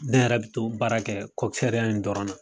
Ne yɛrɛ bi to baara kɛ in dɔrɔn na.